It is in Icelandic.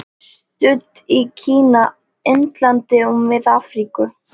Studd í Kína, Indlandi og Mið-Afríku.